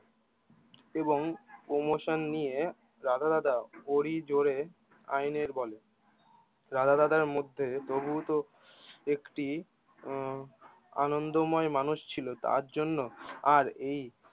এবং প্রমোশন নিয়ে রাধা দাদা বলি জোরে আইনের বলে রাধা দাদা মধ্যে তবুতো একটি আহ আনন্দময় মানুষ ছিল তার জন্য আর এই